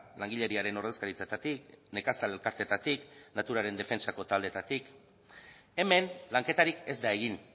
langileriaren ordezkaritzetatik nekazal elkarteetatik naturaren defentsako taldeetatik hemen lanketarik ez da egin